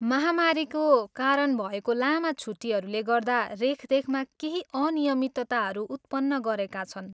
महामारीको कारण भएको लामा छुट्टीहरूले गर्दा रेखदेखमा केही अनियमितताहरू उत्पन्न गरेका छन्।